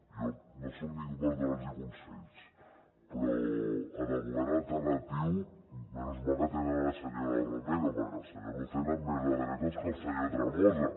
jo no soc ningú per donar los consells però en el govern alternatiu sort que tenen la senyora romero perquè el senyor lucena és més de dretes que el senyor tremosa